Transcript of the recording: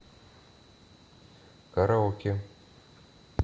караоке